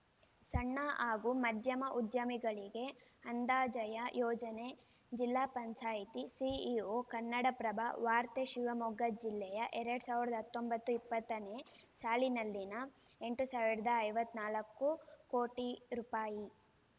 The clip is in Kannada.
ಸಣ್ಣ ಹಾಗೂ ಮಧ್ಯಮ ಉದ್ಯಮಗಳಿಗೆ ಅಂದಾಜಯ ಯೋಜನೆ ಜಿಲ್ಲಾ ಪಂಚಾಯತಿ ಸಿಇಒ ಕನ್ನಡಪ್ರಭ ವಾರ್ತೆ ಶಿವಮೊಗ್ಗ ಜಿಲ್ಲೆಯ ಎರಡ್ ಸಾವಿರದ ಹತ್ತೊಂಬತ್ತು ಇಪ್ಪತ್ತನೇ ಸಾಲಿನಲ್ಲಿನ ಎಂಟು ಸಾವಿರದ ಐವತ್ತ್ ನಾಲ್ಕು ಕೋಟಿ ರೂಪಾಯಿ